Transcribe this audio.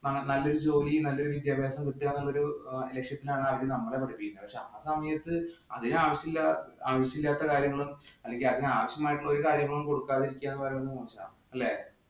നല്ലൊരു ജോലിയും, നല്ലൊരു വിദ്യാഭ്യാസവും കൃത്യമായ ഒരു ലക്ഷ്യത്തിലാണ് നമ്മളെ പഠിപ്പിക്കുന്നത്. പക്ഷെ ആ സമയത്ത് അതിനു ആവശ്യമില്ലാത്ത കാര്യങ്ങളും, അല്ലെങ്കില്‍ അതിനാവശ്യമായ ഒരു കാര്യങ്ങളും കൊടുക്കാതെ ഇരിക്കുക എന്ന് പറയുന്നത് അല്ലേ.